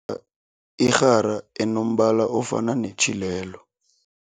a irhara enombala ofana netjhila lelo.